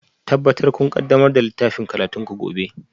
Tabbatar kun ƙaddamar da littafin karatunku gobe